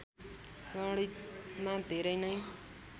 गणितमा धेरै नै